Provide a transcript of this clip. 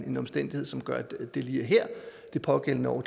en omstændighed som gør at det lige er her det pågældende år